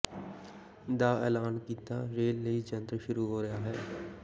ਦਾ ਐਲਾਨ ਕੀਤਾ ਰੇਲ ਲਈ ਜੰਤਰ ਸ਼ੁਰੂ ਹੋ ਰਿਹਾ ਹੈ